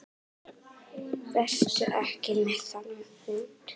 Vertu ekki með þennan hund.